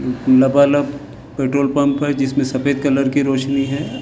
लबालब petrol pump है जिसमें सफेद रंग की रोशनी है ।